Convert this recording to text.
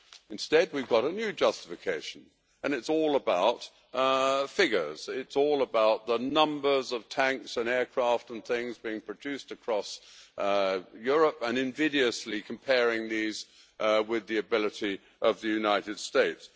Instead we get a new justification and it is all about figures. It is all about the numbers of tanks and aircraft and things being produced across Europe, and invidiously comparing these with the capability of the United States.